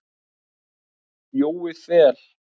Jói Fel.